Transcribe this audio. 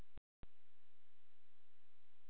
Þorbjörn: Keyptir þú eitthvað við frumskráninguna núna?